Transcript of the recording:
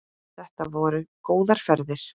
Þetta voru góðar ferðir.